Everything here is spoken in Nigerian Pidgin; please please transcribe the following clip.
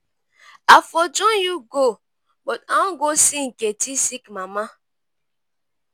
i for join you go but i wan go see nkechi sick mama.